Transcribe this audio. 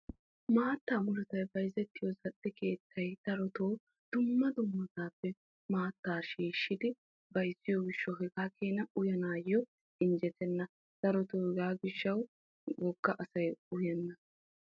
maattaa murutay bayizettiyo zal'e keettay darotoo dumma dummasaappe maattta shiishshidi bayizziyo gishshawu hegaa keena uyanaayyo injjetenna. darotoo hegaa gishshawu wogga asay uyenna.